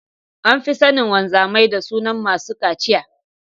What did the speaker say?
An fi sanin wamzamai da sunan masu cachiya.